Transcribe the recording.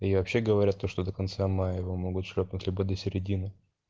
и вообще говорят то что до конца мая его могут шлёпнуть либо до середины